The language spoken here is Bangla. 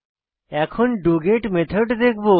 এখন ডগেট মেথড দেখবো